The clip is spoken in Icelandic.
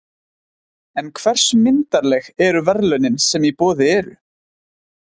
En hversu myndarleg eru verðlaunin sem í boði eru?